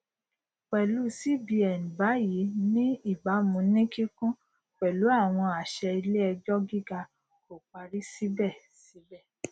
irú nkan bíi le è jẹ nípa ẹsìn àyíká ìbáṣepọ ìṣèjọba tàbí nípa ìhùwàsí